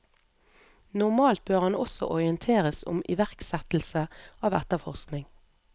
Normalt bør han også orienteres om iverksettelse av etterforskning.